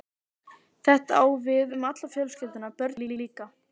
Þetta á við um alla fjölskylduna- börnin líka.